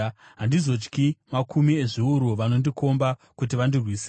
Handizotyi makumi ezviuru vakandikomba kuti vandirwise.